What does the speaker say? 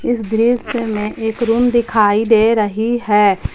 इस दृश्य में एक रूम दिखाई दे रही है।